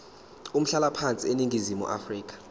umhlalaphansi eningizimu afrika